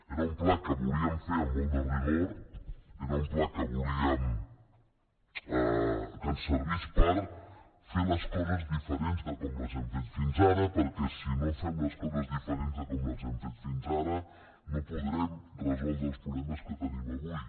era un pla que volíem fer amb molt de rigor era un pla que volíem que ens servís per fer les coses diferents de com les hem fet fins ara perquè si no fem les coses diferents de com les hem fet fins ara no podrem resoldre els problemes que tenim avui